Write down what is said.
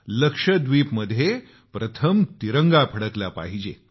लक्षद्वीपमध्ये प्रथम तिरंगा फडकला पाहिजे